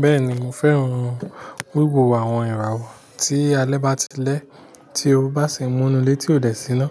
Bẹ́ẹ̀ni mo fẹ́ran wíwo àwon ìràwọ̀ tí alẹ́ bá ti lẹ́, tí o bá sì múnu létí òde siná.